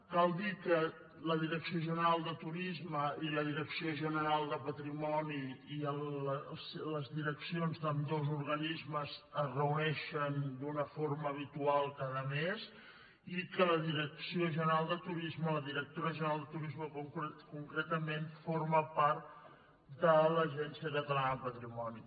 cal dir que la direcció general de turisme i la direcció general de patrimoni i les direccions d’ambdós organismes es reuneixen d’una forma habitual cada mes i que la direcció general de turisme la directora general de turisme concretament forma part de l’agència catalana del patrimoni